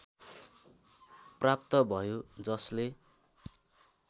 प्राप्त भयो जसले